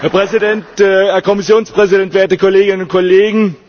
Herr Präsident, Herr Kommissionspräsident, werte Kolleginnen und Kollegen!